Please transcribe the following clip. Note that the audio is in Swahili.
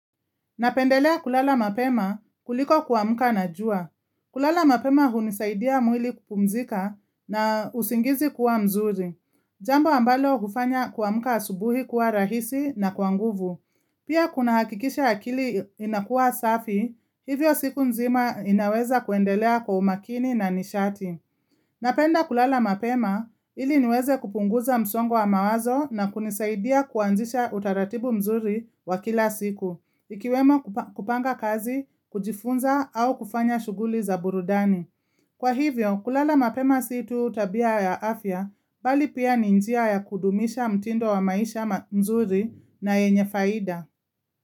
Napendelea kulala mapema kuliko kuamka na jua. Kulala mapema hunisaidia mwili kupumzika na usingizi kuwa mzuri. Jambo ambalo hufanya kuamka asubuhi kuwa rahisi na kwa nguvu. Pia kunahakikisha akili inakuwa safi, hivyo siku nzima inaweza kuendelea kwa umakini na nishati. Napenda kulala mapema ili niweze kupunguza msongo wa mawazo na kunisaidia kuanzisha utaratibu mzuri wa kila siku, ikiwemo kupanga kazi, kujifunza au kufanya shughuli za burudani. Kwa hivyo, kulala mapema si tu tabia ya afya, bali pia ni njia ya kudumisha mtindo wa maisha mzuri na yenye faida.